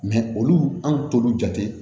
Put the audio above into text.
olu an t'olu jate